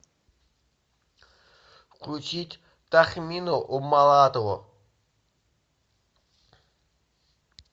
включить тахмину умалатову